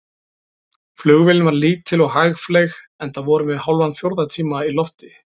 Flugvélin var lítil og hægfleyg, enda vorum við hálfan fjórða tíma í lofti.